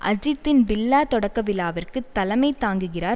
அஜித்தின் பில்லா தொடக்க விழாவுக்கு தலைமை தாங்குகிறார்